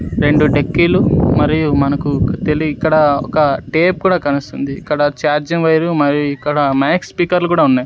రెండు డెక్కీలు మరియు మనకు తేలి ఇక్కడ ఒక టేప్ కూడా కనుస్తుంది ఇక్కడ ఛార్జింగ్ వైర్ మరియు ఇక్కడ మైక్ స్పీకర్లు కూడా ఉన్నాయి.